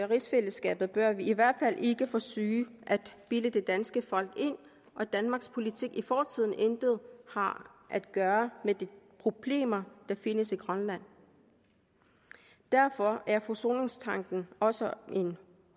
rigsfællesskabet bør vi i hvert fald ikke forsøge at bilde det danske folk ind at danmarks politik i fortiden intet har at gøre med de problemer der findes i grønland derfor er forsoningstanken også en